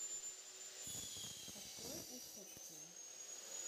открой усопшие